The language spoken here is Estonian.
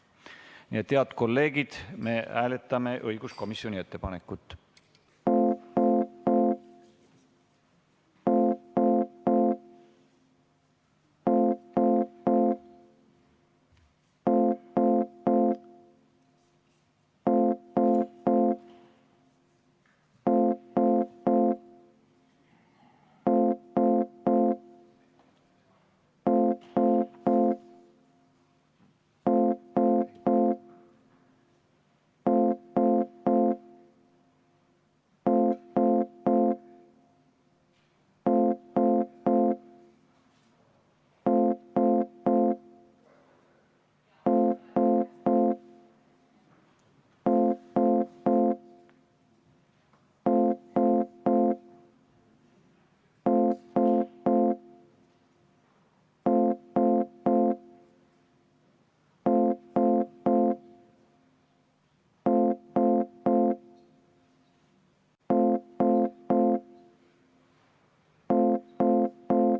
Nii et, head kolleegid, me hääletame õiguskomisjoni ettepanekut.